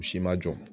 U si ma jɔ